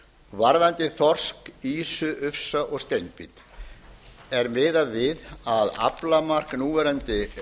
varðandi þorsk ufsa ýsu og steinbít er miðað við að aflamark núverandi